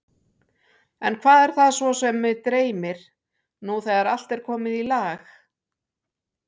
En hvað er það svo sem mig dreymir, nú þegar allt er komið í lag?